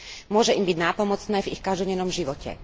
Môže im byť nápomocné v ich každodennom živote.